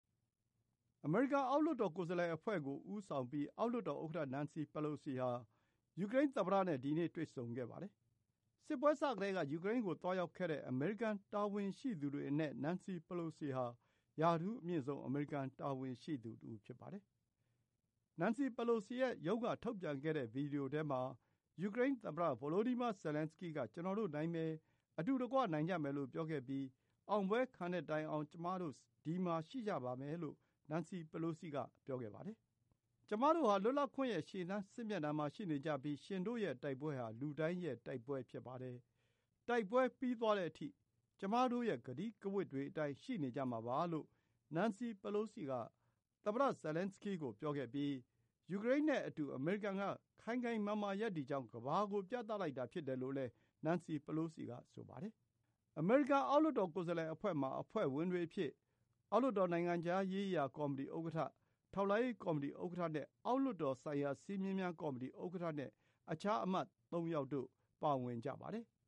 အမေရိကန် အောက်လွှတ်တော် ကိုယ်စားလှယ်အဖွဲ့ကို ဦးဆောင်ပြီး အောက်လွှတ်တော်ဥက္ကဋ္ဌ Nancy Pelosi ဟာ ယူကရိန်းသမ္မတနဲ့ ဒီနေ့ တွေ့ဆုံခဲ့ပါတယ်။ စစ်ပွဲစကတည်းက ယူကရိန်းကို သွားရောက်ခဲ့တဲ့ အမေရိကန် တာဝန်ရှိသူတွေအနက် Nancy Pelosi ဟာ ရာထူးအမြင့်ဆုံး အမေရိကန် တာဝန်ရှိသူတဦး ဖြစ်ပါတယ်။ Nancy Pelosi ရဲ့ရုံးက ထုတ်ပြန်ခဲ့တဲ့ ဗွီဒီယိုထဲမှာ ယူကရိန်းသမ္မတ Volodymyr Zelenskyy က “ကျနော်တို့ နိုင်မယ်။ အတူတကွ နိုင်ကြမယ်” လို့ ပြောခဲ့ပြီး “အောင်ပွဲခံတဲ့တိုင်အောင် ကျမတို့ ဒီမှာရှိကြပါမယ်” လို့ Nancy Pelosi က ဆိုပါတယ်။ “ကျမတို့ဟာ လွတ်လပ်ခွင့်ရဲ့ ရှေ့တန်းစစ်မျက်နှာမှာ ရှိနေကြပြီး ရှင်တို့ရဲ့တိုက်ပွဲဟာ လူတိုင်းရဲ့တိုက်ပွဲ ဖြစ်ပါတယ်။ တိုက်ပွဲ ပြီးသွားတဲ့အထိ ကျမတို့ရဲ့ ကတိကဝတ်တွေအတိုင်း ရှိနေကြမှာပါ” လို့ Nancy Pelosi က သမ္မတ Zelenskyy ကို ပြောခဲ့ပြီး ယူကရိန်းနဲ့အတူ အမေရိကန်က ခိုင်ခိုင်မာမာ ရပ်တည်ကြောင်း ကမ္ဘာကို ပြသလိုက်တာ ဖြစ်တယ်လို့လည်း Nancy Pelosi က ဆိုပါတယ်။ အမေရိကန် အောက်လွှတ်တော် ကိုယ်စားလှယ်အဖွဲ့မှာ အဖွဲ့ဝင်တွေအဖြစ် အောက်လွှတ်တော် နိုင်ငံခြားရေးရာကော်မတီ ဥက္ကဋ္ဌ၊ ထောက်လှမ်းရေးကော်မတီ ဥက္ကဋ္ဌ၊ အောက်လွှတ်တော်ဆိုင်ရာ စည်းမျဉ်းများကော်မတီ ဥက္ကဋ္ဌနဲ့ အခြား အမတ် ၃ ယောက်တို့ ပါဝင်ကြပါတယ်။